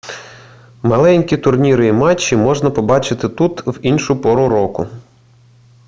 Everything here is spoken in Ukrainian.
маленькі турніри і матчі можна побачити тут і в іншу пору року